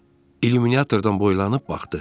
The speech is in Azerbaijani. O illuminatordan boylanıb baxdı.